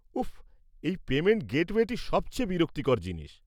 উফ, এই পেমেন্ট গেটওয়েটি সবচেয়ে বিরক্তিকর জিনিস।